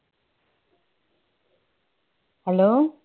hello